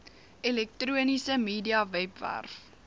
elektroniese media webwerf